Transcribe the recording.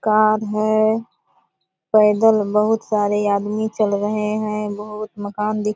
car है पैदल बहुत सारे आदमी चल रहे है बहुत मकान दिख --